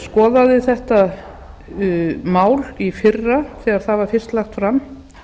skoðaði þetta mál í fyrra þegar það var fyrst lagt fram